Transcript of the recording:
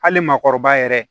Hali maakɔrɔba yɛrɛ